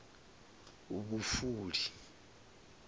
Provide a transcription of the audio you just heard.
vhufuli